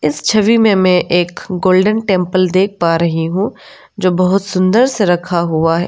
इस छवि में मैं एक गोल्डन टेंपल देख पा रही हूँ जो बहुत सुंदर से रखा हुआ है।